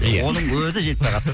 ия оның өзі жеті сағат